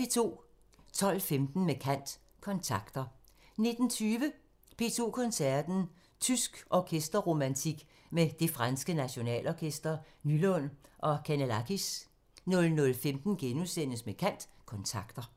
12:15: Med kant – Kontakter 19:20: P2 Koncerten – Tysk orkester-romantik med Det franske Nationalorkester, Nylund og Canellakis 00:15: Med kant – Kontakter *